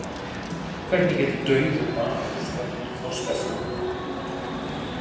Hvernig getur dauður maður slökkt þorsta sinn?